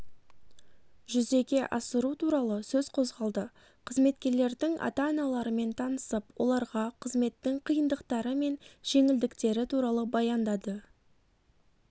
жүзеге асыру туралы сөз қозғалды қызметкерлердің ата-аналарымен танысып оларға қызметтің қиындықтары мен жеңілдіктері туралы баяндады